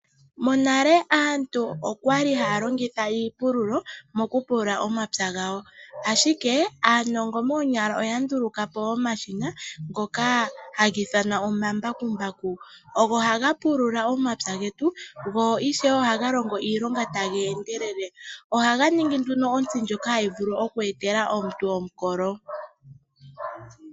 Monale aantu okwali haya longitha iipululo mokupulula omapya gawo, ashike aanongo moonyala oya nduluka po omashina ngoka haga ithanwa omambakumbaku. Ogo haga pulula omapya getu go ishewe ohaga longo iilonga taga endelele. Ohaga ningi nduno ontsi ndjoka hayi vulu oku etela omuntu omukolo.